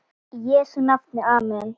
Í Jesú nafni amen.